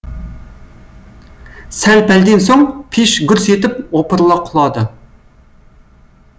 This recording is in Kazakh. сәл пәлден соң пеш гүрс етіп опырыла құлады